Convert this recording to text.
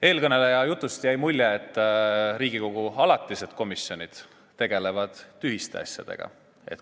Eelkõneleja jutust jäi mulje, et Riigikogu alatised komisjonid tegelevad tühiste asjadega.